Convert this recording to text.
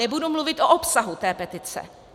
Nebudu mluvit o obsahu té petice.